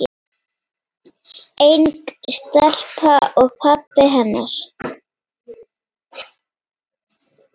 Ung stelpa og pabbi hennar.